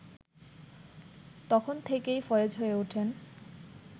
তখন থেকেই ফয়েজ হয়ে ওঠেন